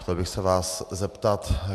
Chtěl bych se vás zeptat.